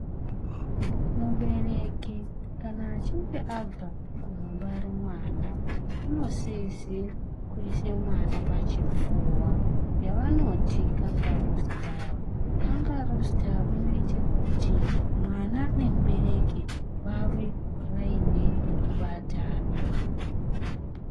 Mubereki kana achinge abva kundobara mwana anosize kuisa mwana pachipfuwa yavanoti kangaruu sitaera . Kangaruu sitaera inoita kuti mwana nemubereki vave vaine kakubatana.